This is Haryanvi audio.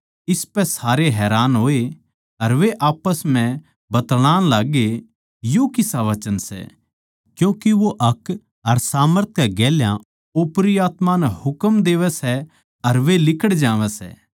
इसपै सारे हैरान होए अर वे आप्पस म्ह बतळाण लाग्गे यो किसा वचन सै क्यूँके वो हक अर सामर्थ कै गेल्या ओपरी आत्मायाँ नै हुकम देवै सै अर लिकड़ जावै सै